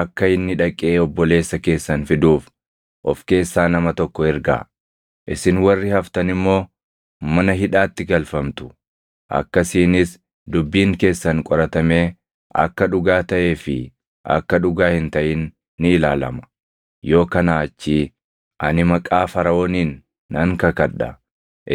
Akka inni dhaqee obboleessa keessan fiduuf of keessaa nama tokko ergaa; isin warri haftan immoo mana hidhaatti galfamtu; akkasiinis dubbiin keessan qoratamee akka dhugaa taʼee fi akka dhugaa hin taʼin ni ilaalama; yoo kanaa achii, ani maqaa Faraʼooniin nan kakadha;